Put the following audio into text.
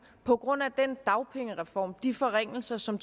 på grund af den dagpengereform de forringelser som